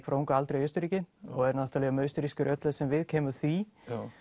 frá unga aldri í Austurríki og er náttúrulega mjög austurrískur í öllu sem viðkemur því